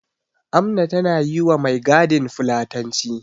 Amna tana yi wa mai gadin fulatanci.